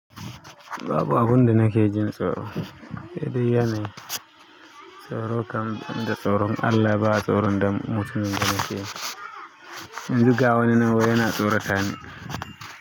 Babu abunda na kejin tsoro. Hedai yanayi tsoro kam banda tsoron Allah ba tsoron da mutumin da ne keji. Yanzu gawani nan wai yana tsorata ni.